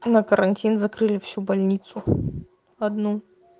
а на карантин закрыли всю больницу одну